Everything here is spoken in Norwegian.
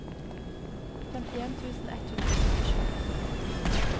femtien tusen ett hundre og syttisju